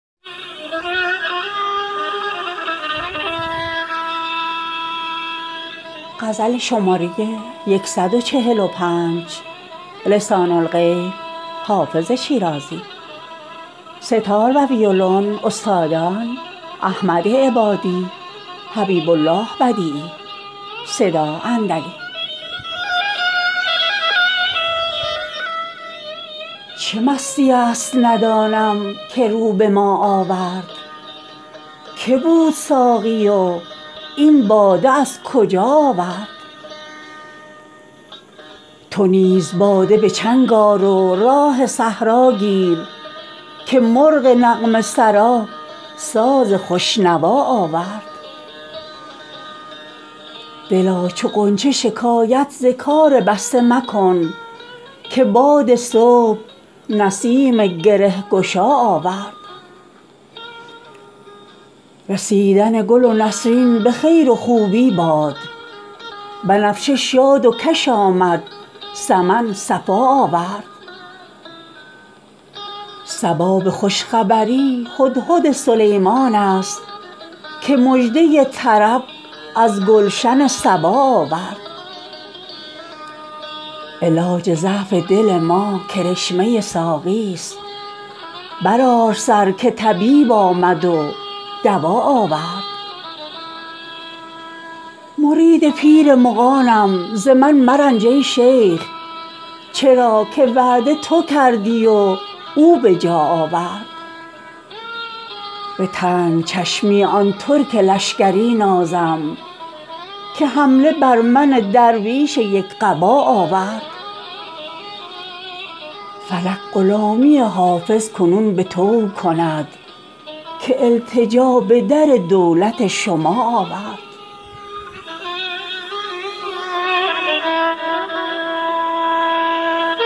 چه مستیی است ندانم که رو به ما آورد که بود ساقی و این باده از کجا آورد چه راه می زند این مطرب مقام شناس که در میان غزل قول آشنا آورد تو نیز باده به چنگ آر و راه صحرا گیر که مرغ نغمه سرا ساز خوش نوا آورد دلا چو غنچه شکایت ز کار بسته مکن که باد صبح نسیم گره گشا آورد رسیدن گل نسرین به خیر و خوبی باد بنفشه شاد و کش آمد سمن صفا آورد صبا به خوش خبری هدهد سلیمان است که مژده طرب از گلشن سبا آورد علاج ضعف دل ما کرشمه ساقیست برآر سر که طبیب آمد و دوا آورد مرید پیر مغانم ز من مرنج ای شیخ چرا که وعده تو کردی و او به جا آورد به تنگ چشمی آن ترک لشکری نازم که حمله بر من درویش یک قبا آورد فلک غلامی حافظ کنون به طوع کند که التجا به در دولت شما آورد